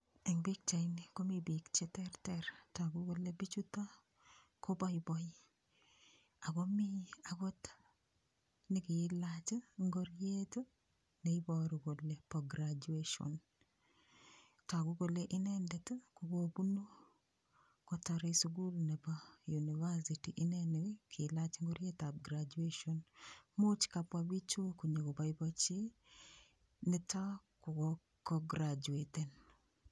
Eng pikchaini komi biik cheterter. Tagu kole biichuto koboiboi ago mi agot negiilach ingoriet neboru kole bo graduation. Tagu kole inendet ko kobunu kotorei sugul nebo university. Inne ne kiilach ingorietab graduation. Much kabwa biichu konyogoboiboichi nito ka grachueten.